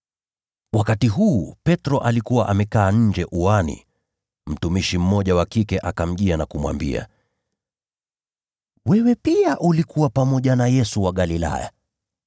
Wakati huu Petro alikuwa amekaa nje uani. Mtumishi mmoja wa kike akamjia na kumwambia, “Wewe pia ulikuwa pamoja na Yesu wa Galilaya.”